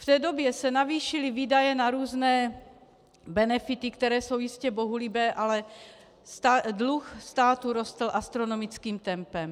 V té době se navýšily výdaje na různé benefity, které jsou jistě bohulibé, ale dluh státu rostl astronomickým tempem.